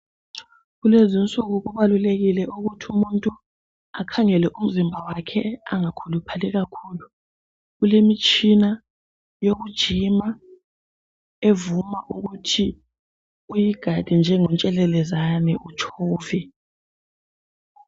Kulezinsuku kubalulekile ukuthi umuntu akhangele umzimba wakhe angakhuluphali kakhulu. Kulemitshina yokujima evuma ukuthi uyigade njengontshelelezane utshove.